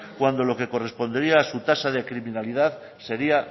cuando lo que correspondería a su tasa de criminalidad sería